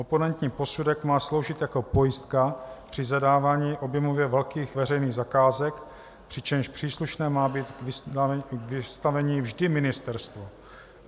Oponentní posudek má sloužit jako pojistka při zadávání objemově velkých veřejných zakázek, přičemž příslušné má být k vystavení vždy ministerstvo.